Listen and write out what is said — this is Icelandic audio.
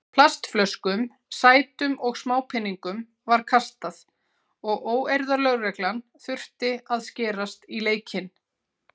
Plastflöskum, sætum og smápeningum var kastað og óeirðalögreglan þurfti að skerast í leikinn.